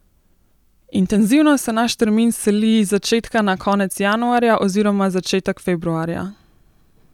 Intenzivno se naš termin seli z začetka na konec januarja oziroma začetek februarja.